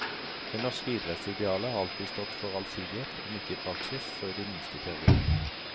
Det norske idrettsidealet har alltid stått for allsidighet, om ikke i praksis, så i det minste i teorien.